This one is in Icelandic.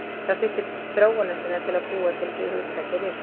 Það þurfti þróunarsinna til að búa til hugtakið risaeðla.